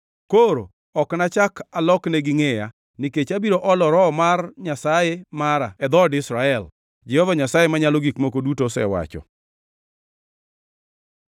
Koro ok nachak aloknegi ngʼeya, nikech abiro olo Roho mar Nyasaye mara e dhood Israel, Jehova Nyasaye Manyalo Gik Moko Duto osewacho.”